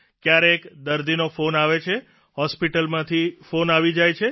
કયારેક દર્દીનો ફોન આવે છે હોસ્પીટલમાંથી ફોન આવી જાય છે